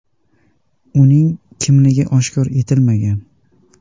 Uning kimligi oshkor etilmagan.